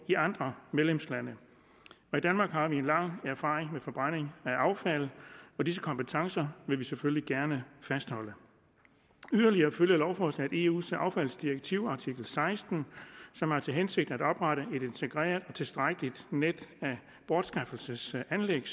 i andre medlemslande i danmark har vi mange års erfaring med forbrænding af affald og disse kompetencer vil vi selvfølgelig gerne fastholde yderligere følger lovforslaget eus affaldsdirektivs artikel seksten som har til hensigt at oprette et integreret og tilstrækkeligt net af bortskaffelsesanlæg